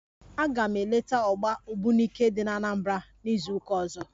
Aga m eleta ọgba ogbunike dị n'Anambra n'izuụka ọzọ